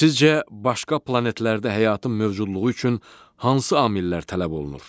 Sizcə, başqa planetlərdə həyatın mövcudluğu üçün hansı amillər tələb olunur?